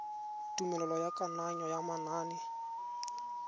tumelelo ya kananyo ya manane